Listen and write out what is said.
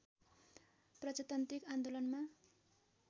प्रजातान्त्रिक आन्दोलनमा